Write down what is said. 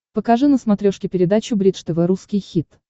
покажи на смотрешке передачу бридж тв русский хит